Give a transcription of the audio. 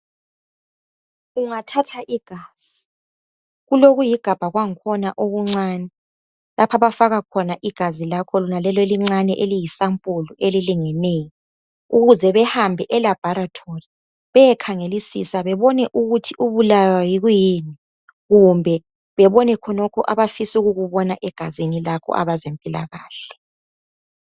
Ungathatha igazi, kulokuyigabha kwangkhona, okuncane lapho abafaka khona igazi lakho elincane eliyisampulu elilingeneyo ukuze behambe elabhorethori bayekhangelisisa bebone ukuthi ubulawa yikuyini kumbe bebone khonokhu abafisa ukubona egazini lakho abezempilakahle.